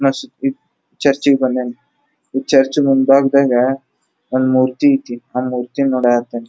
Church ಗೆ ಬಂದ್ಯಾನ ಈ ಚರ್ಚ್ ನ ಮುಂಭಾಗದಾಗ ಒಂದ್ ಮೂರ್ತಿ ಇತ್ತಿ ಆ ಮೂರ್ತಿನಿ ನೋಡಕತ್ತಾನ.